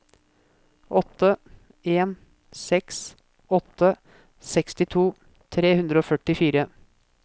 åtte en seks åtte sekstito tre hundre og førtifire